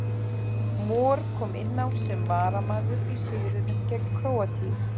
Mor kom inn á sem varamaður í sigrinum gegn Króatíu.